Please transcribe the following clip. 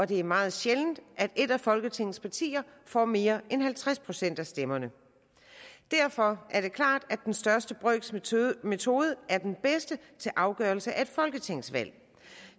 det er meget sjældent at et af folketingets partier får mere end halvtreds procent af stemmerne derfor er det klart at den største brøks metode metode er den bedste til afgørelse af et folketingsvalg